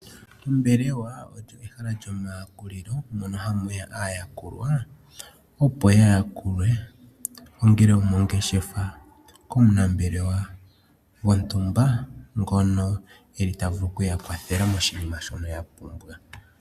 Ombelewa olyo ehala lyomayakulilo, mono hamuya aayakulwa, opo ya yakulwe. Ongele omongeshefa komunambelewa wontumba, ngono eli tavulu kuyakwathela moshinima shono yapumba.